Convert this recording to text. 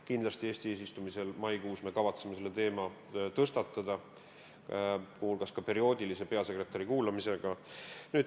Kindlasti me kavatseme Eesti eesistumise ajal maikuus selle teema tõstatada, muu hulgas perioodilise peasekretäri kuulamisega.